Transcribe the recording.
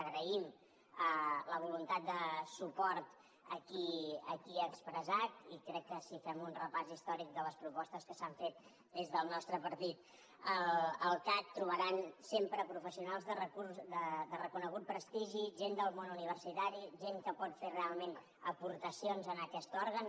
agraïm la voluntat de suport aquí expressat i crec que si fem un repàs històric de les propostes que s’han fet des del nostre partit al cac trobaran sempre professionals de reconegut prestigi gent del món universitari gent que pot fer realment aportacions a aquest òrgan